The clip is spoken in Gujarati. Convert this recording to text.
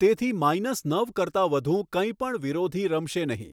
તેથી માઈનસ નવ કરતાં વધુ કંઈ પણ વિરોધી રમશે નહિ.